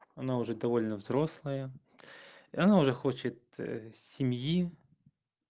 она уже довольно взрослая и она уже хочет семьи